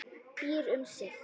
Býr um sig.